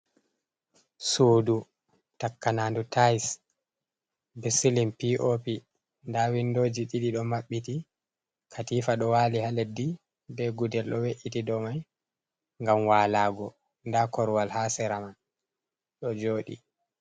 Sudu takanas ndu taise be silim p’opi nda windoji ɗiɗi ɗo maɓɓiti katifa ɗo wali ha leddi be gudel do we’’iti dou mai ngam walago nda korowal ha sera man ɗo joɗi.